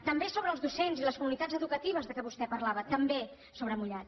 també sobre els docents i les comunitats educatives de què vostè parlava també sobre mullat